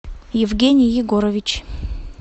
евгений егорович